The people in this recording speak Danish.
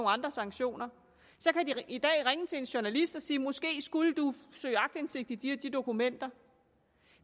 andre sanktioner så kan de i dag ringe til en journalist og sige måske skulle du søge aktindsigt i de og de dokumenter